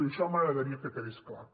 i això m’agradaria que quedés clar